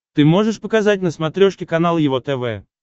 ты можешь показать на смотрешке канал его тв